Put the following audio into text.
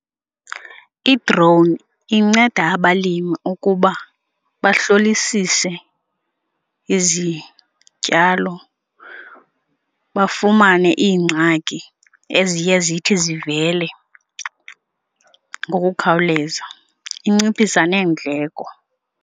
I-drone inceda abalimi ukuba bahlolisise izityalo bafumane iingxaki eziye zithi zivele ngokukhawuleza, inciphisa neendleko.